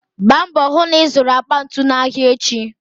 Gba mbò hų na ịzụrụ akpa ntu n'ahịa echi.